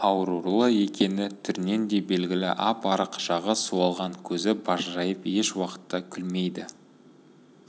аурулы екені түрінен де белгілі ап-арық жағы суалған көзі бажырайып еш уақытта күлмейді